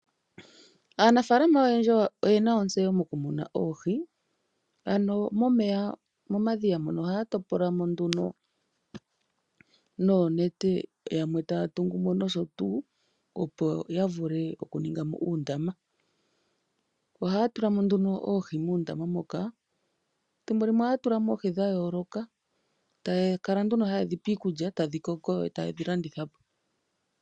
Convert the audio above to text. Aanafalama oyendji oyena otseyo molumuna oohi, ano momeya mo ma dhiya ohaya topolamo nduno noonete yamwe taya tulamo osotuu opo yavule okutunga uundama. Ohaya tulamo nduno oohi muundama muka , thimbo limwe ohaya tulamo oohi dha yooloka ta ya tulamo woo iikulya opo dhi koke dho ta ye ke dhi landithapo.